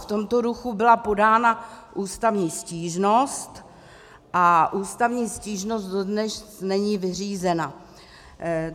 V tomto duchu byla podána ústavní stížnost a ústavní stížnost dodnes není vyřízena.